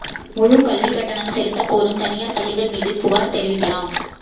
முழுக் கல்விக் கட்டணம் செலுத்தக் கோரும் தனியாா் பள்ளிகள் மீது புகாா் தெரிவிக்கலாம்